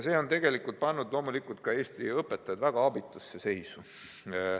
See on tegelikult pannud Eesti õpetajad väga abitusse seisu.